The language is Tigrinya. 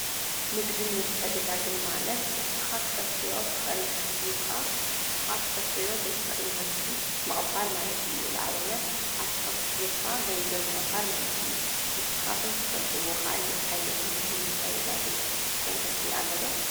ንግድን ምትዕድዳግን ማለት ንስኻ እተፍርዮ እትኽእል ምህርቲ ሂብኻ ንስኻ ዘይተፍርዮ ምህርቲ ምቕባል ማለት እዩ። ንኣብነት ኣትክልቲ ሂብካ ገንዘብ ምቕባል ማለት እዩ። ንስኻትኩም እትፈልጥዎ ካሊእ ዓይነት ንግድን ምትዕድዳግን መንገዲ ኣሎዶ?